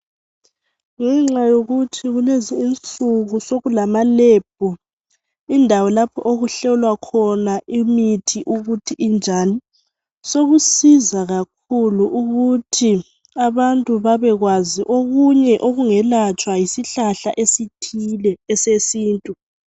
Ngenxa yokuthi kulezi insuku sokula malebhu indawo lapho okuhlolwa khona imithi ukuthi injani, sokusiza kakhulu ukuthi abantu bebekwazi okunye okungelatshwa yisihlahla esithile esesintu.